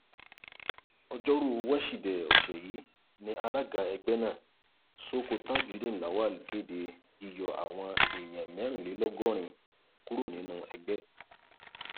ọjọrùú wíṣídẹẹ ọsẹ yìí ni alága ẹgbẹ náà sooko tajudeen lawal kéde yíyọ àwọn èèyàn mẹrìnlélọgọrin kúrò nínú ẹgbẹ